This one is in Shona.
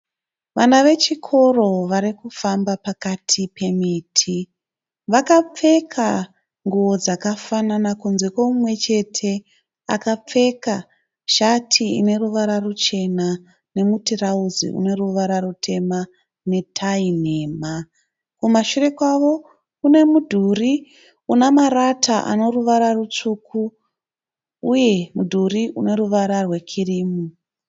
Vana vechikoro varikufamba pakati pemiti. Vakapfeka nguwo dzakafanana kunze koumwechete akapfeka shati ine ruvara ruchena nemutirauzi une ruvara rutema netai nhema. Kumashure kwavo kune mudhuri una marata ane ruvara rutsvuku uye mudhuri une ruvara rwekirimu